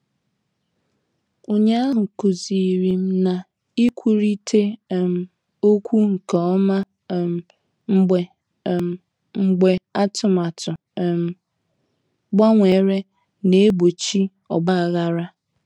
Ụnyaahụ kụzirim na-ikwurita um okwu nke ọma um mgbe um mgbe atụmatụ um gbanwere na-egbochi ogbaghara.